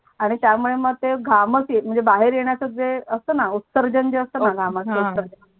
आणि त्यामुळे मग ते घामच म्हणजे बाहेर येण्याच जे असतो णा उत्तरजेण जे असतोणा घमाचा उत्तरजेण हा